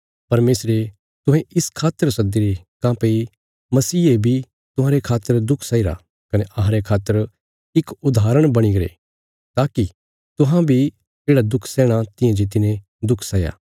परमेशरे तुहें इस खातर सद्दीरे काँह्भई मसीहे बी तुहांरे खातर दुख सैईरा कने अहांरे खातर इक उदाहरण बणीगरे ताकि तुहां बी येढ़ा दुख सैहणा तियां जे तिने दुख सैया